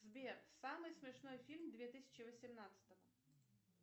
сбер самый смешной фильм две тысячи восемнадцатого